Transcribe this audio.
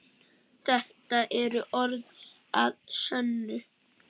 Þetta eru orð að sönnu.